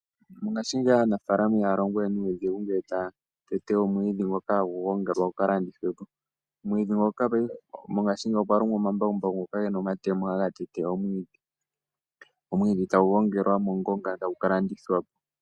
Ngaashingeyi aanafaalama ihaya longo we nuudhigu ngele taya tete omwiidhi ngoka hagu gongelwa gu ka landithwe po. Mongashingeyi okwa longwa omambakumbaku ge na omatemo ngoka haga tete omwiidhi, omwiidhi tagu gngelwa mongonga e tagu ka landithwa po.